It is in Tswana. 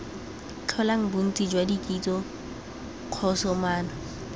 tlholang bontsi jwa dikotsi kgosomano